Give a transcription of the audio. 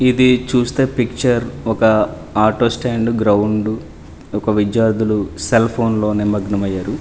ఇది చూస్తే పిక్చర్ ఒక ఆటో స్టాండ్ గ్రౌండ్ ఒక విద్యార్థులు సెల్ ఫోన్ లో నిమగ్నమయ్యారు.